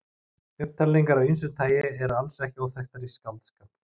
Upptalningar af ýmsu tagi eru alls ekki óþekktar í skáldskap.